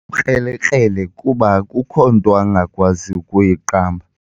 ukrelekrele kuba akukho nto angakwazi kuyiqamba.